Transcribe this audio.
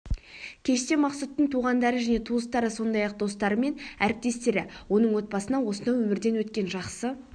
кеште мақсұттың туғандары және туыстары сондай-ақ достары мен әріптестері оның отбасына осынау өмірден өткен жақсы